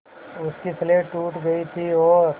उसकी स्लेट टूट गई थी और